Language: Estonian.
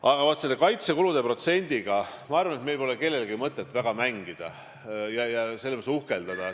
Aga vaat selle kaitsekulude protsendiga meil pole minu arvates kellelgi mõtet väga mängida ja sellega uhkeldada.